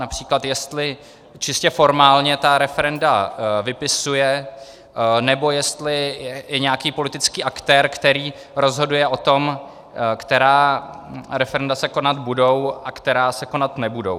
Například jestli čistě formálně ta referenda vypisuje, nebo jestli je nějaký politický aktér, který rozhoduje o tom, která referenda se konat budou a která se konat nebudou.